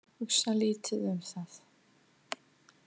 Hugsa lítið um það.